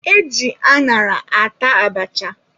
E ji añara ata abacha.